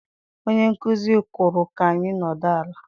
Onye nkuzi kwuru ka anyị nọdụ ala.